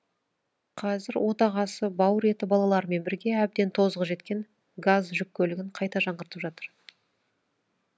қазір отағасы бауыр еті балаларымен бірге әбден тозығы жеткен газ жүк көлігін қайта жаңғыртып жатыр